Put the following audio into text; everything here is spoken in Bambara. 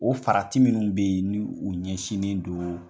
O farati minnu be yen ni u ɲɛsinnen don